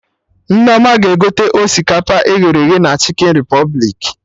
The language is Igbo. Nneoma ga-egote osikapa e ghere eghe na Chikin Repụblik